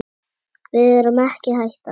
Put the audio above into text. Við erum ekki hættar.